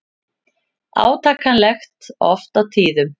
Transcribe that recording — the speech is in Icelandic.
Átakanlegt oft á tíðum.